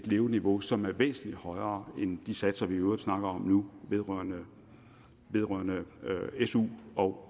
leveniveau som er væsentlig højere end de satser vi i øvrigt snakker om nu vedrørende vedrørende su og